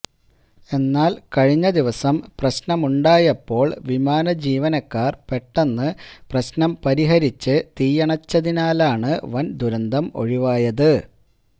എന്നാല് കഴിഞ്ഞ ദിവസം പ്രശ്നമുണ്ടായപ്പോള് വിമാന ജീവനക്കാര് പെട്ടെന്ന് പ്രശ്നം പരിഹരിച്ച് തീയണച്ചതിനാലാണ് വന് ദുരന്തം ഒഴിവായത്